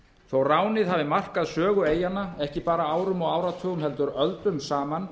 þó að ránið hafi markað sögu eyjanna ekki bara árum og áratugum heldur öldum saman